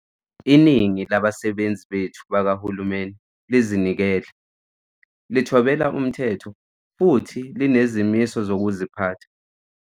Iningi labasebenzi bethu bakahulumeni lizinikele, lithobela umthetho futhi linezimiso zokuziphatha.